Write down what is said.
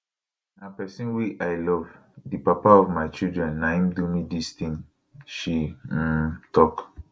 na pesin wey i love di papa of my children na im do me dis tin she um tok